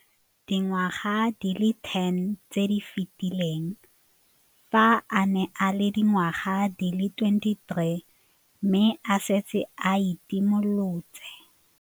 Dingwaga di le 10 tse di fetileng, fa a ne a le dingwaga di le 23 mme a setse a itshimoletse.